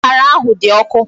Akara ahụ dị ọkụ.